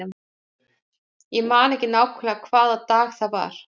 Ég man ekki nákvæmlega hvaða dag það var.